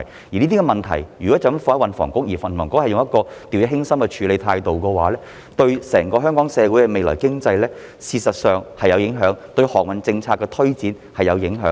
如果將這些問題全部交給運輸及房屋局，而局方用掉以輕心的態度處理，便會對香港整個社會的未來和經濟有影響，對航運政策的推展也有影響。